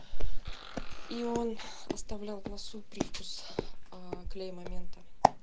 но он оставлял в носу привкус клея момента